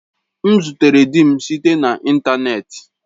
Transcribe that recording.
M zutere di m site na ịntanetị.